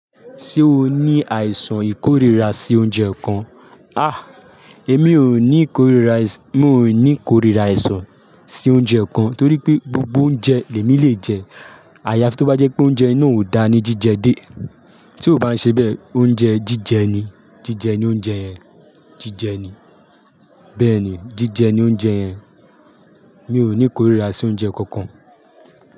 Ṣé o ní àìsàn ìkórìíra sí oúnjẹ kankan? Àh! Èmi ò ní ìkórìíra, mo ò ní ìkórìíra àìsàn sí oúnjẹ kan torí pé gbogbo oúnjẹ lèmi lè jẹ. Àyàfi tó bá jẹ́ pé oúnjẹ náà ò dáa ní jíjẹ dé. Tí ó bá ṣe bẹ́ẹ̀, oúnjẹ jíjẹ ni. Jíjẹ ni oúnjẹ yẹn. Jíjẹ ni. Bẹ́ẹ̀ ni, jíjẹ ni oúnjẹ yẹn. Mi ò ní ìkórìíra sí oúnjẹ kankan.